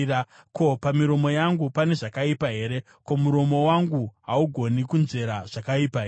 Ko, pamiromo yangu pane zvakaipa here? Ko, muromo wangu haugoni kunzvera zvakaipa here?